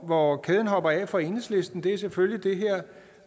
hvor kæden hopper af for enhedslisten er selvfølgelig